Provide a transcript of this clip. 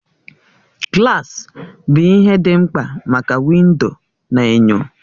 Gilasi bụ ihe ndị mkpa maka windo na enyo